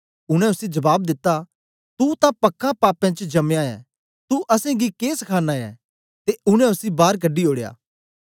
उनै उसी जबाब दिता तू तां पक्का पापें च जम्मयां ऐ तू असेंगी के सखाना ऐं ते उनै उसी बार कढी ओड़या